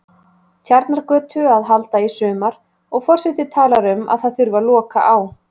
Tjarnargötu að halda í sumar, og forseti talar um að það þurfi að loka á